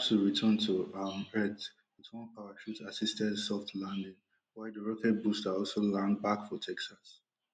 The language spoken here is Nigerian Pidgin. tu return to um earth wit one parachute assisted soft landing while di rocket booster also land back for texas